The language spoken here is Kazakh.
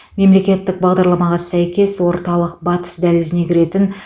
мемлекеттік бағдарламаға сәйкес орталық батыс дәлізіне кіретін